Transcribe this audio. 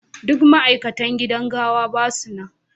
Duk ma'aikatan gidan gawa ba su nan.